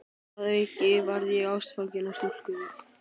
Að auki varð ég ástfanginn af stúlku.